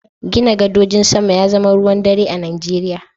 Gina gadojin sama ya zama ruwan dare a Najeriya.